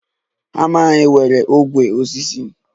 Hama anyị nwere ogwe osisi